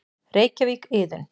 Reykjavík: Iðunn.